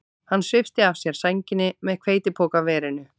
Hann svipti af sér sænginni með hveitipokaverinu.